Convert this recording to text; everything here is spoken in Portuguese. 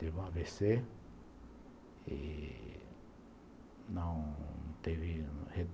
Teve um a vê cê e não teve re